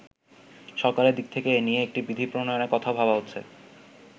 সরকারের দিক থেকে এ নিয়ে একটি বিধি প্রণয়নের কথাও ভাবা হচ্ছে।